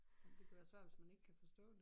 Det kan være svært hvis man ikke kan forstå det